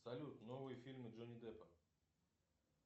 салют новые фильмы джонни деппа